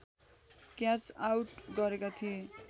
catch out गरेका थिए